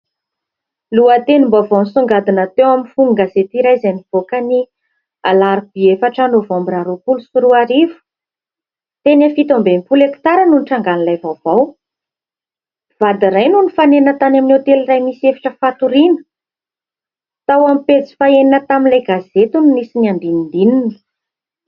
Lohatenim-baovao nisongadina teo amin'ny fonon-gazety iray izay nivoaka ny alarobia efatra novambra roapolo sy roa arivo. Teny amin'ny fito amby enimpolo hekitara no nitrangan'ilay vaovao. Mpivady iray no nifanena tany amin'ny hotely iray misy efitra fatoriana. Tao amin'ny pejy fahaenina tamin'ilay gazety no nisy ny andinindininy.